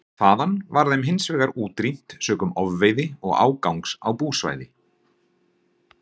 Þaðan var þeim hins vegar útrýmt sökum ofveiði og ágangs á búsvæði.